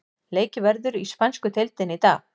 Leikið verður í spænsku deildinni í dag.